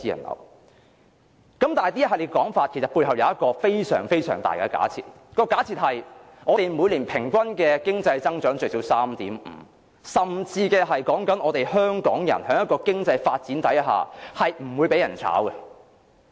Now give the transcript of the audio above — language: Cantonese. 可是，在這系列說法背後，其實有一個重要假設，就是假設我們每年平均最少有 3.5% 經濟增長，以及香港人在經濟發展下不會被解僱。